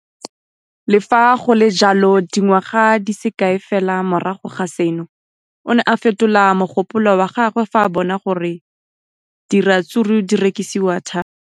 Le fa go le jalo, dingwaga di se kae fela morago ga seno, o ne a fetola mogopolo wa gagwe fa a bona gore diratsuru di rekisiwa thata.